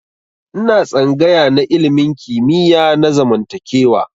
Ina tsangaya na ilimin kimiyya na zamantakewa.